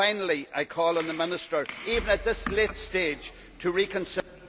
Finally, I call on the Minister, even at this late stage, to reconsider